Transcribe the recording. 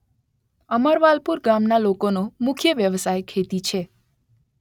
અમરવાલપુર ગામના લોકોનો મુખ્ય વ્યવસાય ખેતી છે.